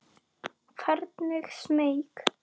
Hvergi smeyk.